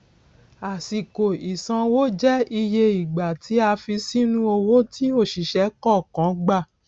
àsìkò ìsanwó jẹ iye ìgbà tí a fi sínú owó tí òṣìṣẹ kọọkan gbà